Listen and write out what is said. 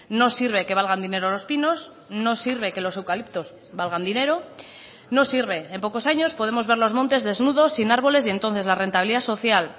no sirve que valgan dinero los pinos no sirve que los eucaliptos valgan dinero no sirve en pocos años podemos ver los montes desnudos sin árboles y entonces la rentabilidad social